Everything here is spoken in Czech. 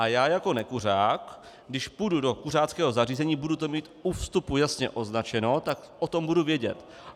A já jako nekuřák, když půjdu do kuřáckého zařízení, budu to mít u vstupu jasně označeno, tak o tom budu vědět.